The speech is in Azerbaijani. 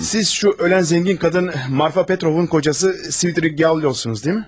Siz, o ölən zəngin qadın Marfa Petrovun kocası Svridrigaylovsunuz, deyilmi?